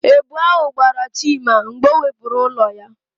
Èbù ahụ gbara Chima mgbe ọ wepụrụ ụlọ ya.